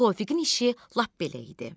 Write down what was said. Tofiqin işi lap belə idi.